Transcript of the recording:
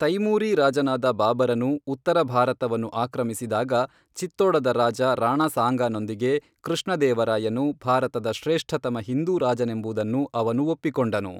ತೈಮೂರೀ ರಾಜನಾದ ಬಾಬರನು ಉತ್ತರ ಭಾರತವನ್ನು ಆಕ್ರಮಿಸಿದಾಗ, ಚಿತ್ತೋಡದ ರಾಜ ರಾಣಾ ಸಾಂಗಾನೊಂದಿಗೆ ಕೃಷ್ಣದೇವರಾಯನು ಭಾರತದ ಶ್ರೇಷ್ಠತಮ ಹಿಂದೂ ರಾಜನೆಂಬುದನ್ನು ಅವನು ಒಪ್ಪಿಕೊಂಡನು.